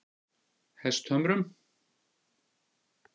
Hesthömrum